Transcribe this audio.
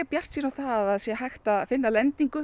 bjartsýn á að það sé hægt að finna lendingu